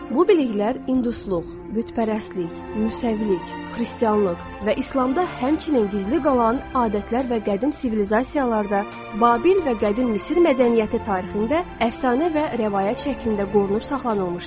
Bu biliklər indusluq, bütpərəstlik, müsaəvilik, xristianlıq və İslamda həmçinin gizli qalan adətlər və qədim sivilizasiyalarda, Babil və Qədim Misir mədəniyyəti tarixində əfsanə və rəvayət şəklində qorunub saxlanılmışdı.